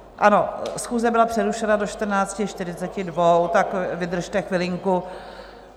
Ano, schůze byla přerušena do 14.42, tak vydržte chvilinku.